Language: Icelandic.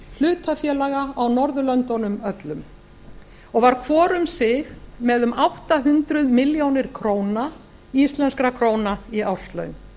hlutafélaga á norðurlöndunum öllum og var hvor um sig með um átta hundruð milljónir íslenskar krónur í árslaun